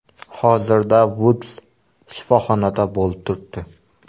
Hozirda Vuds shifoxonada bo‘lib turibdi.